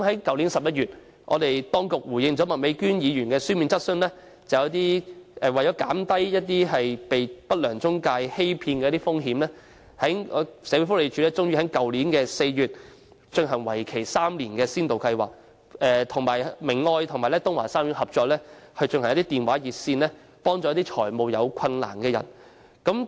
去年11月，當局回應麥美娟議員的書面質詢時表示，為了減低有需要人士被不良中介欺騙的風險，社會福利署終於在去年4月推行為期3年的先導計劃，與明愛和東華三院合作，設立電話熱線，為有財務困難的人提供協助。